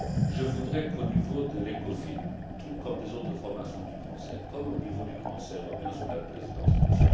Je voudrais qu'au niveau de l'ECOFIN, tout comme des autres formations du Conseil, comme au niveau du Conseil européen sous la présidence de M.